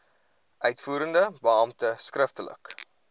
uitvoerende beampte skriftelik